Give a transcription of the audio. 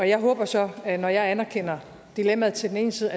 jeg håber så at når jeg anerkender dilemmaet til den ene side